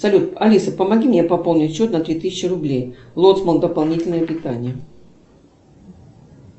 салют алиса помоги мне пополнить счет на три тысячи рублей лоцман дополнительное питание